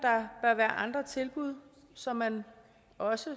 at være andre tilbud så man også